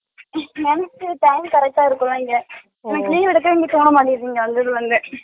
மனசு பாத்து correct டா இருக்குவங்க அன்னிக்கு leave எடுக்கவே எனக்கு தோனமாடிங்குது அப்பிடிபாங்க